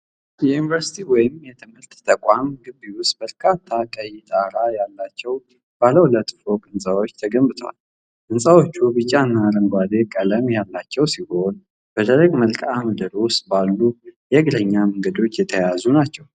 የዩኒቨርሲቲ ወይም የትምህርት ተቋም ግቢ ውስጥ በርካታ ቀይ ጣራ ያላቸው ባለ ሁለት ፎቅ ሕንፃዎች ተገንብተዋል፡፡ ሕንፃዎቹ ቢጫና አረንጓዴ ቀለም ያላቸው ሲሆን፣ በደረቅ መልክዓ ምድር ውስጥ ባሉ የእግረኛ መንገዶች የተያያዙ ናቸው፡፡